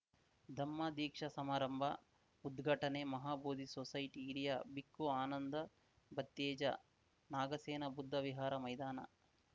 ಧಮ್ಮ ದೀಕ್ಷಾ ಸಮಾರಂಭ ಉದ್ಘಾಟನೆ ಮಹಾಬೋಧಿ ಸೊಸೈಟಿ ಹಿರಿಯ ಬಿಕ್ಕು ಆನಂದ ಬತ್ತೇಜ ನಾಗಸೇನಾ ಬುದ್ಧ ವಿಹಾರ ಮೈದಾನ